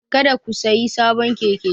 Kada ku sayi sabon keke!